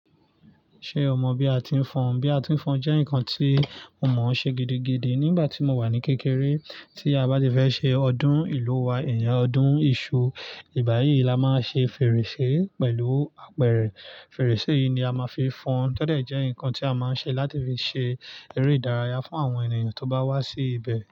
Ṣé o mọ bí a ti ń fọn? Bí a ti ń fọn jẹ́ nkan tí mo mọ ṣe gidigidi nígbàtí mo wà ní kékeré. Tí a bá ti fẹ́ ṣe ọdún ìlú wa ọdún iṣu, ìgbà yìí la ma ṣe fèrèsé pẹ̀lú apẹrẹ. Fèrèsé yi ni a ma fi fọn, tọ dé jẹ́ nkan tí a ma ṣe láti fi ṣe eré ìdárayá fún àwọn ènìyàn tí ó bá wá sí ibẹ̀.